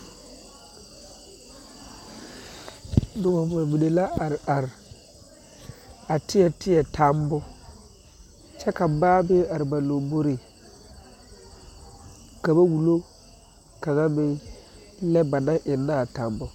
Noba mine la are are a teɛ teɛ tammo kyɛ ka baa meŋ are ba lamboriŋ ka ba wullo kaŋ meŋ lɛ ba naŋ eŋnɛ a tammo.